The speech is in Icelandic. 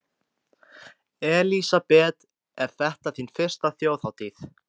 Elísabet: Er þetta þín fyrsta Þjóðhátíð?